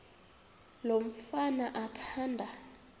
lo mfana athanda